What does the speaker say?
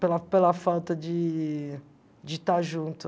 Pela pela falta de de estar junto.